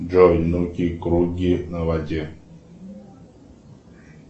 джой нуки круги на воде